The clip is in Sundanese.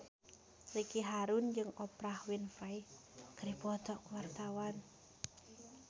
Ricky Harun jeung Oprah Winfrey keur dipoto ku wartawan